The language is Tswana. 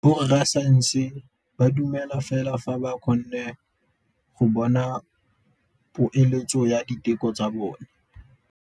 Borra saense ba dumela fela fa ba kgonne go bona poeletsô ya diteko tsa bone.